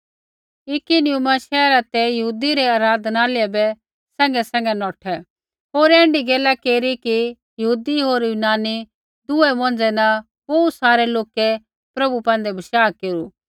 इकुनियुमा शैहरा ते यहूदी रै आराधनालय बै सैंघैसैंघै नौठै होर ऐण्ढी गैला केरी कि यहूदी होर यूनानी दूऐ मौंझ़ै न बोहू सारै लोकै प्रभु पैंधै विश्वास केरू